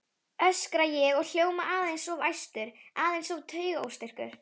öskra ég og hljóma aðeins of æstur, aðeins of taugaóstyrkur.